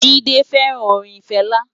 Jide fèrán órin Fela